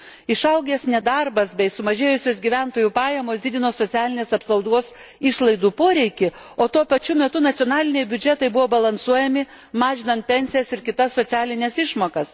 Išaugęs nedarbas bei sumažėjusios gyventojų pajamos didino socialinės apsaugos išlaidų poreikį, o tuo pačiu metu nacionaliniai biudžetai buvo balansuojami mažinant pensijas ir kitas socialines išmokas.